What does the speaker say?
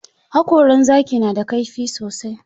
Haƙoran zaki na da kaifi sosai.